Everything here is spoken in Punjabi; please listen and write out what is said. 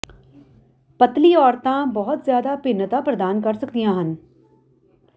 ਪਤਲੀ ਔਰਤਾਂ ਬਹੁਤ ਜ਼ਿਆਦਾ ਭਿੰਨਤਾ ਪ੍ਰਦਾਨ ਕਰ ਸਕਦੀਆਂ ਹਨ